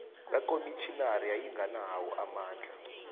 kakomitjhinari yayinganawo amandla